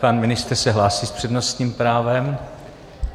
Pan ministr se hlásí s přednostním právem.